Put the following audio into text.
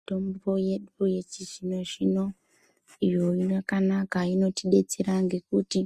Mitombo yedu yechizvino zvino iyo yakanaka inotidetsera ngekuti